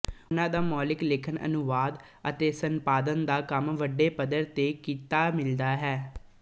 ਉਹਨਾਂ ਦਾ ਮੌਲਿਕ ਲੇਖਣ ਅਨੁਵਾਦ ਅਤੇ ਸੰਪਾਦਨ ਦਾ ਕੰਮ ਵੱਡੇ ਪਧਰ ਤੇ ਕੀਤਾ ਮਿਲਦਾ ਹੈ